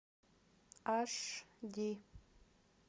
аш ди